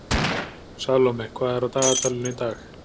Salome, hvað er á dagatalinu í dag?